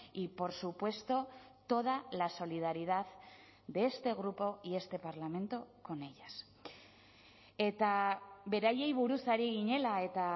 y por supuesto toda la solidaridad de este grupo y este parlamento con ellas eta beraiei buruz ari ginela eta